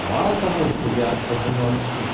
мало того что я позвоню отцу